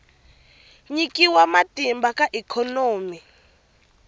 nyikiwa matimba ka ikhonomi ya